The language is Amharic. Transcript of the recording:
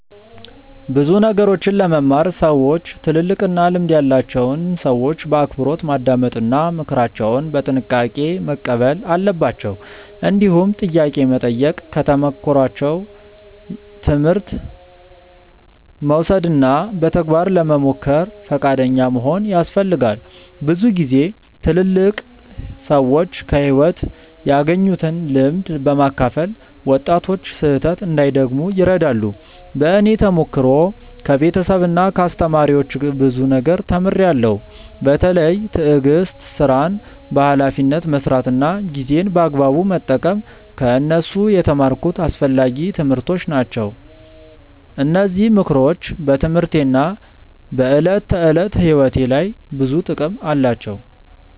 ብዙ ነገሮችን ለመማር ሰዎች ትልልቅና ልምድ ያላቸውን ሰዎች በአክብሮት ማዳመጥ እና ምክራቸውን በጥንቃቄ መቀበል አለባቸው። እንዲሁም ጥያቄ መጠየቅ፣ ከተሞክሯቸው ትምህርት መውሰድ እና በተግባር ለመሞከር ፈቃደኛ መሆን ያስፈልጋል። ብዙ ጊዜ ትልልቅ ሰዎች ከሕይወት ያገኙትን ልምድ በማካፈል ወጣቶች ስህተት እንዳይደግሙ ይረዳሉ። በእኔ ተሞክሮ ከቤተሰብና ከአስተማሪዎች ብዙ ነገር ተምሬያለሁ። በተለይ ትዕግስት፣ ሥራን በኃላፊነት መስራት እና ጊዜን በአግባቡ መጠቀም ከእነሱ የተማርኩት አስፈላጊ ትምህርቶች ናቸው። እነዚህ ምክሮች በትምህርቴና በዕለት ተዕለት ሕይወቴ ላይ ብዙ ጥቅም አላቸው።